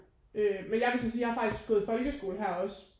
Øh men jeg vil sådan sige jeg er faktisk gået i folkeskole her også